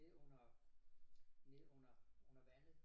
Nede under nede under vandet